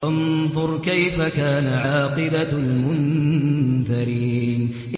فَانظُرْ كَيْفَ كَانَ عَاقِبَةُ الْمُنذَرِينَ